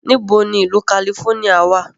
Níbo ni ìlú kalifóníà wà?